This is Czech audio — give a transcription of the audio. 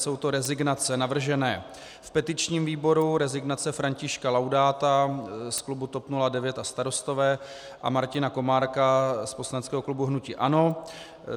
Jsou to rezignace navržené v petičním výboru, rezignace Františka Laudáta z klubu TOP 09 a Starostové a Martina Komárka z poslaneckého klubu hnutí ANO.